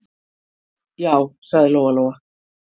Já, sagði Lóa-Lóa.